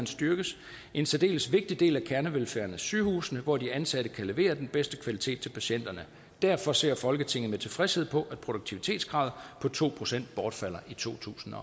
styrkes en særdeles vigtig del af kernevelfærden er sygehusene hvor de ansatte kan levere den bedste kvalitet til patienterne derfor ser folketinget med tilfredshed på at produktivitetskravet på to procent bortfalder i totusinde